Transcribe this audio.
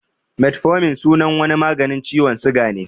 Metformin sunan wani maganin ciwon suga ne